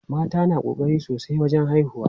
Mata na ƙokari sosai wajen haihuwa.